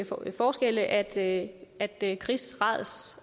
få forskelle at at kris rads